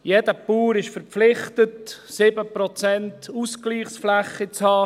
Jeder Bauer ist verpflichtet, 7 Prozent Ausgleichsfläche zu haben.